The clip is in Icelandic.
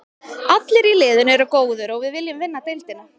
Allir í liðinu eru góðir og við viljum vinna deildina.